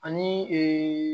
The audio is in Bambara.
Ani